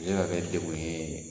Se ka kɛ dekun ye